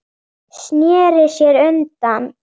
Sneri sér undan.